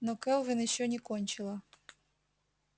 но кэлвин ещё не кончила